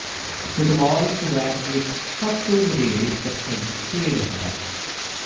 football Kuwait ਵਿੱਚ ਸਭ ਤੋਂ ਵਧੇਰੇ ਪ੍ਰਸਿੱਧ ਖੇਡ ਹੈ